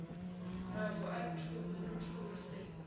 mavu a muthu hu si